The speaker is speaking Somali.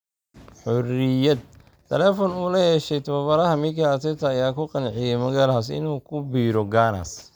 (Xuriyaad) Taleefan uu la yeeshay tababaraha Mikel Arteta ayaa ku qanciyay Magalhaes inuu ku biiro Gunners.